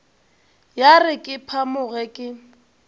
ya re ke phamoge ke